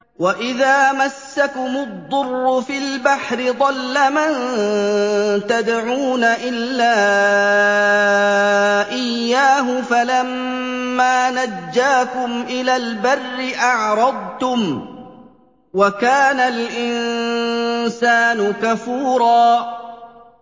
وَإِذَا مَسَّكُمُ الضُّرُّ فِي الْبَحْرِ ضَلَّ مَن تَدْعُونَ إِلَّا إِيَّاهُ ۖ فَلَمَّا نَجَّاكُمْ إِلَى الْبَرِّ أَعْرَضْتُمْ ۚ وَكَانَ الْإِنسَانُ كَفُورًا